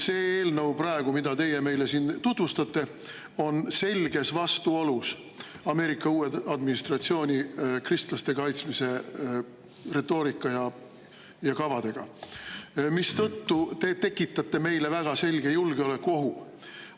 See eelnõu, mida teie meile siin praegu tutvustate, on selges vastuolus Ameerika uue administratsiooni kristlaste kaitsmise retoorika ja kavadega, mistõttu te tekitate meile väga selge julgeolekuohu.